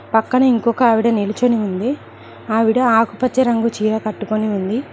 పక్కన ఇంకొక ఆవిడ నిలిచింది ఆవిడ ఆకుపచ్చ రంగు చీర కట్టుకొని ఉంది.